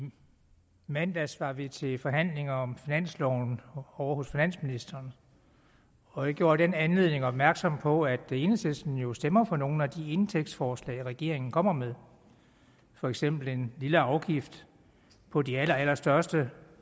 mandags var vi til forhandlinger om finansloven ovre hos finansministeren og jeg gjorde i den anledning opmærksom på at enhedslisten jo stemmer for nogle af de indtægtsforslag regeringen kommer med for eksempel en lille afgift på de allerallerstørste